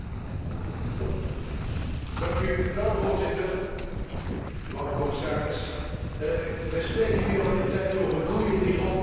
Voorzitter, commissaris, wij spreken nu al weer een tijdje over groei in Europa en dat is een toverwoord in de politiek geworden.